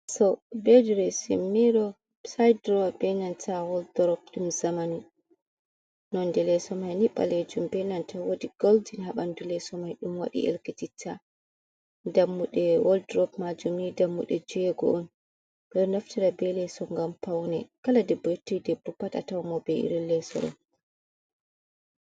Leeso bee direesin miiro, wsayid duroowa bee nanta waldurop, ɗum zaman naane, leeso mai nii baleejum ɓe ɗo naftira, woodi goldin, haa ɓanndu leeseo mai ɗum waɗi ɗelkititta, dammuɗe woldu rop maajum ni dammuɗe joweego'on ɓe ɗo naftira bee leeso ngam pawne kala debbo yotti debbo a tawan mo bee irin lesso ɗo.